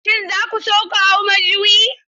Shin za ku so ku hau majuyi?